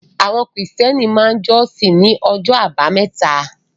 Àwọn Krìstẹ́nì máa jọ́sìn ní ọjọ́ àbámẹ́ta